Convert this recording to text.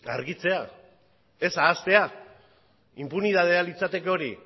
argitzea ez ahaztea inpunitatea litzateke hori